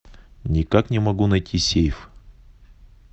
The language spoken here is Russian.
никак не могу найти сейф